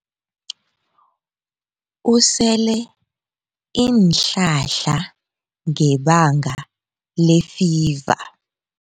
Usele iinhlahla ngebanga lefiva.